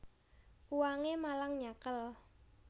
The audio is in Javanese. Uwangé malang nyakél